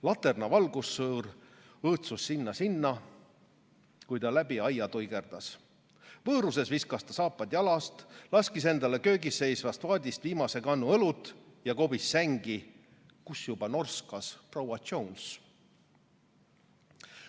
Laterna valgussõõr õõtsus siia-sinna, kui ta läbi aia tuigerdas, vööruses viskas ta saapad jalast, laskis endale köögis seisvast vaadist viimase kannu õlut ja kobis sängi, kus juba norskas proua Jones.